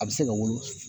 A bɛ se ka wolo